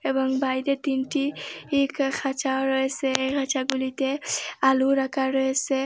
এবং বাইরে তিনটি ই খাঁচাও রয়েসে এই খাঁচাগুলিতে আলু রাখা রয়েসে।